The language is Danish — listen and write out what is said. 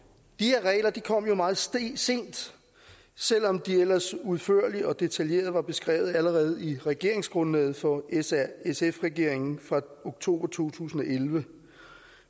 de kom meget sent selv om de ellers udførligt og detaljeret var beskrevet allerede i regeringsgrundlaget for s r sf regeringen fra oktober to tusind og elleve